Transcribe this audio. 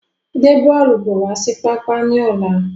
Gbe bọ́ọ́lù bọ̀ wá sí pápá ni ọ̀la!